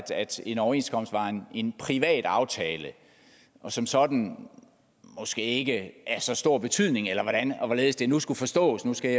en overenskomst var en privat aftale og som sådan måske ikke af så stor betydning eller hvordan og hvorledes det nu skulle forstås nu skal